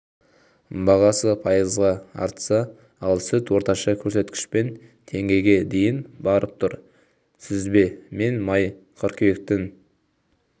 бағасы пайызға артса ал сүт орташа көрсеткішпен теңгеге дейін барып тұр сүзбе мен май қыркүйектің